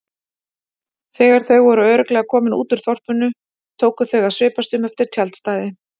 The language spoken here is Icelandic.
Þegar þau voru örugglega komin út úr þorpinu tóku þau að svipast um eftir tjaldstæði.